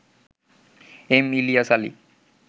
M Ilias Ali